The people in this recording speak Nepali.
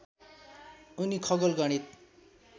उनी खगोल गणित